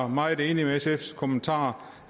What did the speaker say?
meget enig i sfs kommentarer